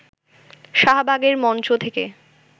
শাহবাগের মঞ্চ থেকে